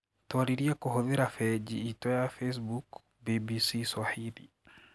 Twaririe kũhitũkira begi itũ ya Facebook, BBCSwahili